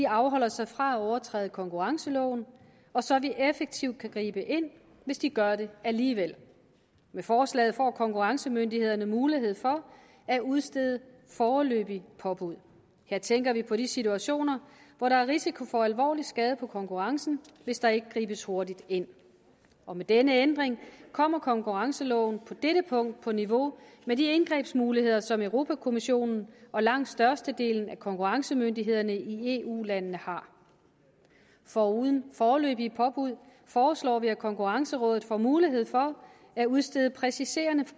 afholder sig fra at overtræde konkurrenceloven og så vi effektivt kan gribe ind hvis de gør det alligevel med forslaget får konkurrencemyndighederne en mulighed for at udstede foreløbige påbud her tænker vi på de situationer hvor der er risiko for alvorlig skade på konkurrencen hvis der ikke gribes hurtigt ind og med denne ændring kommer konkurrenceloven på dette punkt på niveau med de indgrebsmuligheder som europa kommissionen og langt størstedelen af konkurrencemyndighederne i eu landene har foruden foreløbige påbud foreslår vi at konkurrencerådet får mulighed for at udstede præciserende